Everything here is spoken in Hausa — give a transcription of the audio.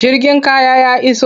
Jirgin kaya ya iso.